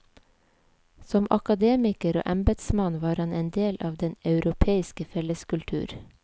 Som akademiker og embetsmann var han en del av den europeiske felleskultur.